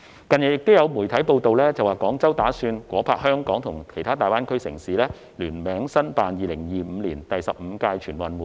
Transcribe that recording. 近日亦有傳媒報道，指廣州打算夥拍香港及其他大灣區城市聯名申辦2025年第十五屆全運會。